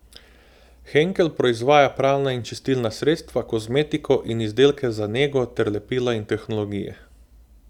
Henkel proizvaja pralna in čistilna sredstva, kozmetiko in izdelke za nego ter lepila in tehnologije.